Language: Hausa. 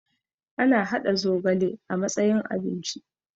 ana haɗa zogale a matsayin abinci